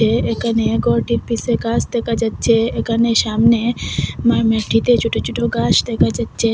এ-এখানে ঘরটির পিসে গাস দেখা যাচ্ছে এখানে সামনে মা-মাটিতে ছোট ছোট ঘাস দেখা যাচ্ছে।